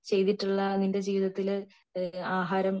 ചെയ്തിട്ടുള്ള നിന്റെ ജീവിതത്തിലു ആഹാരം